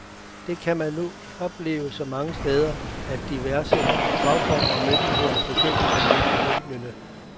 Det kan man nu opleve så mange steder, at diverse fagfolk og myndigheder er begyndt at rynke brynene.